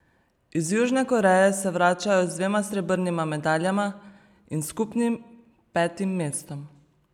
Iz Južne Koreje se vračajo z dvema srebrnima medaljama in skupnim petim mestom!